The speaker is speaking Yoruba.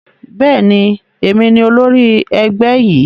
Bẹ́ẹ̀ni, èmi ni olórí ẹgbẹ́ yìí